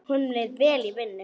Honum leið vel í vinnu.